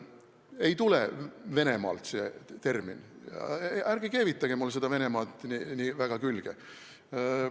Ei tule see termin Venemaalt, ärge keevitage mulle seda Venemaad nii väga külge.